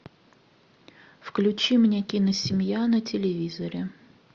включи мне киносемья на телевизоре